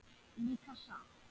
Líka satt?